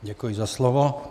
Děkuji za slovo.